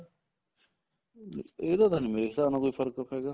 ਇਹਦਾ ਤਾਂ ਮੇਰੇ ਹਿਸਾਬ ਨਾਲ ਕੋਈ ਫਰਕ ਹੈਗਾ